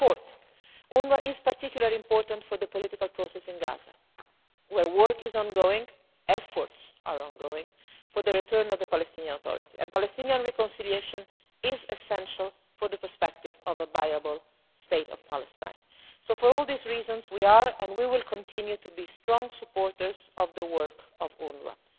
Fourthly, UNWRA is particularly important for the political process in Gaza, where work is ongoing, efforts are ongoing for the return of the Palestinian Authority, and Palestinian reconciliation is essential for the prospect of a viable state of Palestine. So for all these reasons, we are and we will continue to be strong and reliable supporters of the work of UNWRA.